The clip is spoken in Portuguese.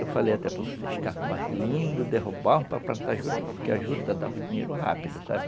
Eu falei até para vocês, cacoás lindos derrubaram para plantar juta, porque a juta dava dinheiro rápido, sabe?